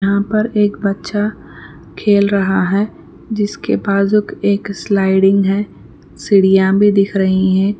یہاں پر ایک بچہ کھیل رہا ہے جس کے بازوک ایک سلائیڈنگ ہے سیڑیاں بھی دکھ رہی ہیں.